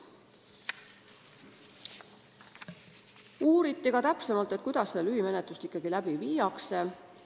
Uuriti ka täpsemalt, kuidas seda lühimenetlust ikkagi läbi viiakse.